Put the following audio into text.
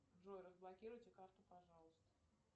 джой разблокируйте карту пожалуйста